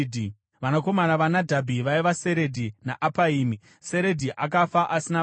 Vanakomana vaNadhabhi vaiva: Seredhi naApaimi. Seredhi akafa asina vana.